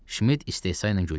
Şmid istehsa ilə güldü.